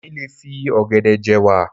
Èmi lè fi ọ̀gẹ̀dẹ̀ je'wà.